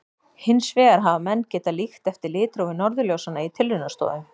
Hins vegar hafa menn getað líkt eftir litrófi norðurljósanna í tilraunastofum.